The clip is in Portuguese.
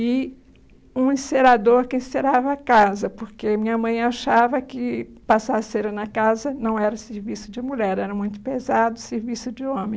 E um encerador que encerava a casa, porque minha mãe achava que passar a cera na casa não era serviço de mulher, era muito pesado, serviço de homem.